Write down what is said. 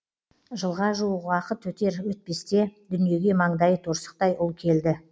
жылға жуық уақыт өтер өтпесте дүниеге маңдайы торсықтай ұл келді